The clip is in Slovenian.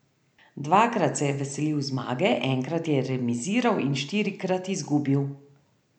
Dvakrat se je veselil zmage, enkrat je remiziral in štirikrat izgubil.